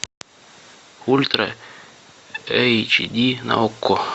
ультра эйч ди на окко